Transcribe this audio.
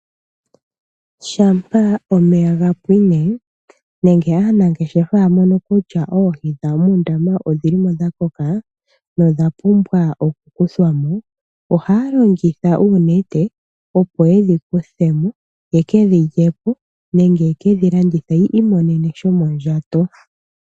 Shampa omeya ga pwine nenge anangeshefa ya mono kutya oohi dhawo muundama odhi li mo dha koka nodha pumbwa okukuthwa mo, ohaya longitha uunete opo ye dhi kuthe mo, yeke dhi lye po nenge yeke dhi landithe po yi imonene shomondjato.